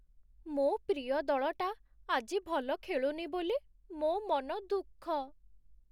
ମୋ' ପ୍ରିୟ ଦଳଟା ଆଜି ଭଲ ଖେଳୁନି ବୋଲି ମୋ' ମନ ଦୁଃଖ ।